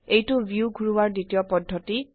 এইটো ভিউ ঘোৰাৱাৰ দ্বিতীয় পদ্ধতি